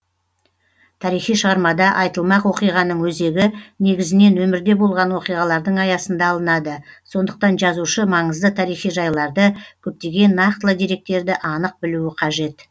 тарихи шығармада айтылмақ уақиғаның өзегі негізінен өмірде болған уақиғалардың аясында алынады сондықтан жазушы маңызды тарихи жайларды көптеген нақтылы деректерді анық білуі қажет